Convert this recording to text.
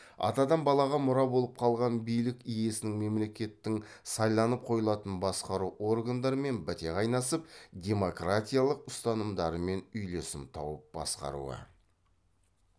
атадан балаға мұра болып қалған билік иесінің мемлекеттің сайланып қойылатын басқару органдарымен біте қайнасып демократиялық ұстанымдарымен үйлесім тауып басқаруы